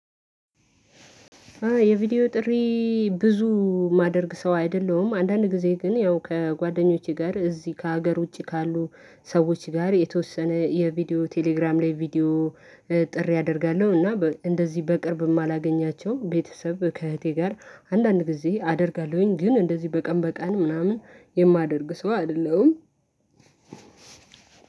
የቪዲዮ ጥሪ። ብዙ የማደርግ ሰው አይደለሁም አንዳንድ ጊዜ ግን ያው ከጓደኞቼ ጋር እዚህ ከሀገር ውጪ ካሉ ሰዎች ጋር የተወሰነ የቪዲዮ ቴሌግራም ላይ ቪዲዮ ጥሪ አደርጋለሁ። እና በ እንደዚህ በቅርብ የማላገኛቸው ቤተሰብ ከእህቴ ጋር አንዳንድ ጊዜ አደርጋለሁኝ ግን እንደዚህ በቀን በቀን ምናምን የማደርግ ሰው አይደለሁም።